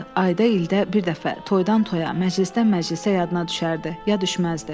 Ayda ildə bir dəfə, toydan toya, məclisdən məclisə yadına düşərdi, ya düşməzdi.